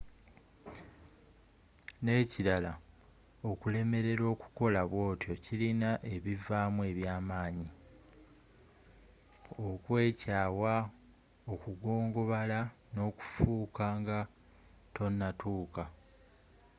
n'ekirala okulemelerwa okukola bwotyo kilina ebivaamu eby'amaanyi okweekyaawa okugongobala n'okuffa nga tonatuuka